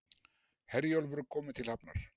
Herjólfur kominn til hafnar